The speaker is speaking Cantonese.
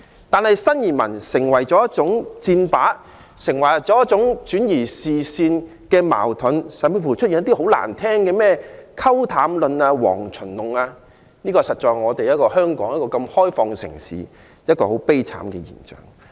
但是，新移民成為箭靶，成為轉移視線的工具，坊間甚至出現一些很難聽的"溝淡論"、"蝗蟲論"，實在是香港這個開放的城市一種很悲哀的現象。